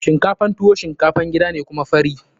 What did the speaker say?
Shinkafan tuwo shinkafan gida ne kuma fari.